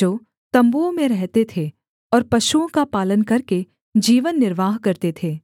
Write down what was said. जो तम्बुओं में रहते थे और पशुओं का पालन करके जीवन निर्वाह करते थे